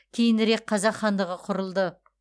кейінірек қазақ хандығы құрылды